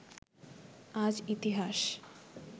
আজ ইতিহাস